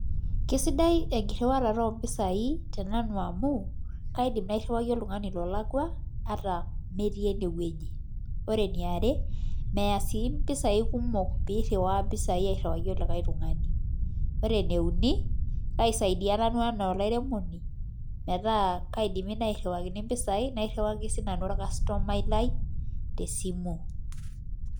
kesidai enkiriwata oo mpisai te nanu amuu kaidim ariwaki oltungani lolakwa ata metii enewueji nemeeya sii mpisai kumok piriwaki likae tungane koreee enkae aisaidia nanu enaa enkairemoni nairiwaini sinanu